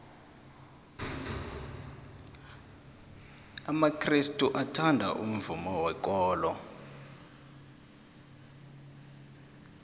amakrestu athanda umvumo wekolo